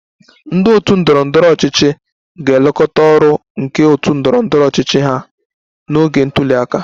Ndị otu ndọrọ ndọrọ ọchịchị ga-elekọta ọrụ nke otu ndọrọ ndọrọ ọchịchị ha n'oge ntuli aka